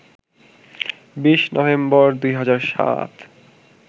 ২০ November, ২০০৭